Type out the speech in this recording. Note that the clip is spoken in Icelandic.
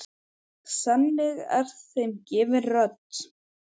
Þannig er þeim gefin rödd.